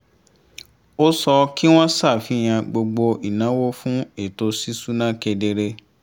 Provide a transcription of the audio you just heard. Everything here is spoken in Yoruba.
ó sọ kí wọ́n ṣàfihàn gbogbo ìnáwó fún ètò ṣíṣúná kedere